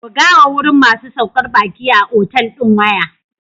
Bugawa wurin masu saukar baki a otal ɗin waya.